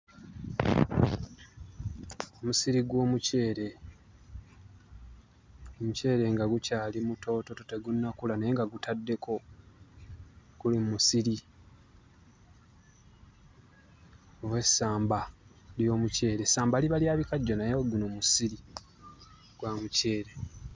Omusiri gw'omuceere; omuceere nga gukyali mutoototo tegunnakula naye nga gutaddeko, gwe musiri oba essamba ly'omuceere; essamba liba lya bikajjo naye guno musiri gwa muceere.